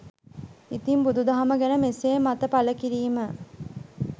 ඉතින් බුදු දහම ගැන මෙසේ මත පල කිරීම